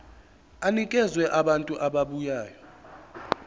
enikeza abantu ababuya